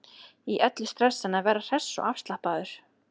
Í öllu stressinu að vera hress og afslappaður.